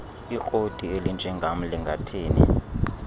ikroti elinjengam lingathini